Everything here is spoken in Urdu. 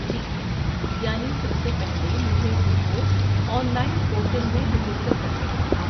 ٹھیک ہے! یعنی سب سے پہلے مجھے خود کو آن لائن پورٹل میں رجسٹر کرنا ہوگا۔